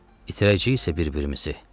itirəcəyik isə bir-birimizi.